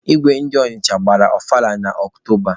Igwe ndi Ọnịcha gbara ọfala na Ọktoba.